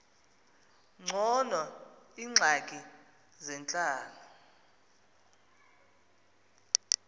ngcono iingxaki zentlalo